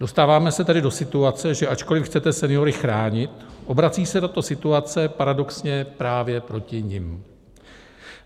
Dostáváme se tedy do situace, že ačkoli chcete seniory chránit, obrací se tato situace paradoxně právě proti nim.